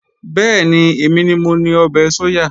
Bẹ́ẹ̀ni, èmi ni mo ni ọbẹ̀ sóyà